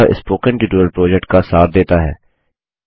यह spoken tutorial project का सार देता है